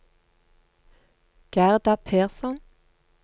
Gerda Persson